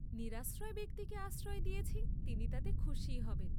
নিরাশ্রয় ব্যক্তিকে আশ্রয় দিয়েছি তিনি তাতে খুসীই হবেন?